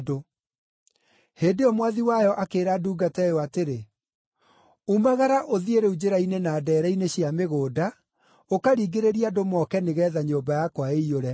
“Hĩndĩ ĩyo Mwathi wayo akĩĩra ndungata ĩyo atĩrĩ, ‘Umagara ũthiĩ rĩu njĩra-inĩ na ndeere-inĩ cia mĩgũnda, ũkaringĩrĩrie andũ moke nĩgeetha nyũmba yakwa ĩiyũre.